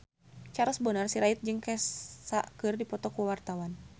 Charles Bonar Sirait jeung Kesha keur dipoto ku wartawan